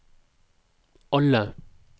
alle